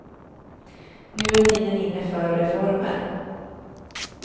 Nu är tiden inne för reformer.